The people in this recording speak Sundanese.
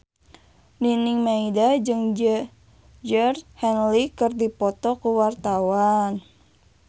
Nining Meida jeung Georgie Henley keur dipoto ku wartawan